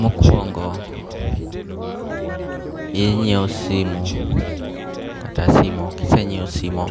Mokuongo' inyiewo simu kata simo, kisenyiewo simo